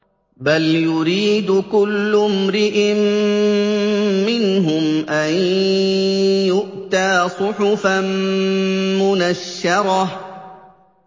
بَلْ يُرِيدُ كُلُّ امْرِئٍ مِّنْهُمْ أَن يُؤْتَىٰ صُحُفًا مُّنَشَّرَةً